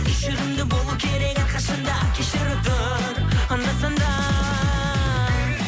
кешірімді болу керек әрқашан да кешіріп тұр анда санда